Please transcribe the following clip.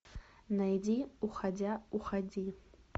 найди уходя уходи